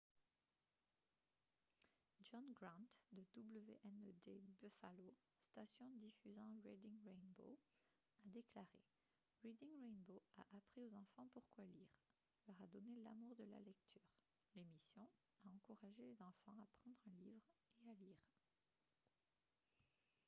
john grant de wned buffalo station diffusant reading rainbow a déclaré :« reading rainbow a appris aux enfants pourquoi lire [] leur a donné l’amour de la lecture — [l’émission] a encouragé les enfants à prendre un livre et à lire »